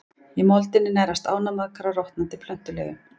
Í moldinni nærast ánamaðkar á rotnandi plöntuleifum.